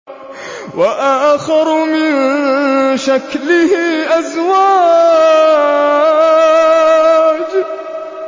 وَآخَرُ مِن شَكْلِهِ أَزْوَاجٌ